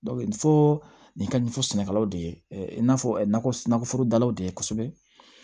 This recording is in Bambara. nin fɔ nin ka ɲɛfɔ sɛnɛkɛlaw de ye i n'a fɔ nakɔforodalaw de ye kosɛbɛ